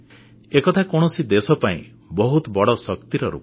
ଏକଥା କୌଣସି ଦେଶ ପାଇଁ ବହୁତ ବଡ଼ ଶକ୍ତିର ରୂପ